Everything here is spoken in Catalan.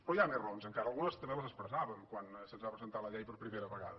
però hi ha més raons encara algunes també les ex·pressàvem quan se’ns va presentar la llei per primera vegada